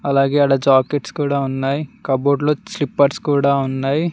అలాగే ఆడ జాకెట్స్ కూడా ఉన్నాయి కబోర్డ్ లో స్లిప్పర్స్ కూడా ఉన్నావి.